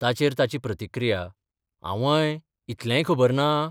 ताचेर ताची प्रतिक्रिया आंवय इतलेंय खबर ना?